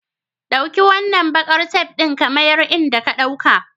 Ɗauki wannan bakar tef ɗin ka miya inda ka dauka.